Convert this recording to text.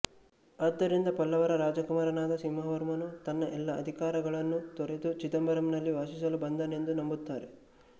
ಆದ್ದರಿಂದ ಪಲ್ಲವರ ರಾಜಕುಮಾರನಾದ ಸಿಂಹವರ್ಮನು ತನ್ನ ಎಲ್ಲಾ ಅಧಿಕಾರಗಳನ್ನು ತೊರೆದು ಚಿದಂಬರಂನಲ್ಲಿ ವಾಸಿಸಲು ಬಂದನೆಂದು ನಂಬುತ್ತಾರೆ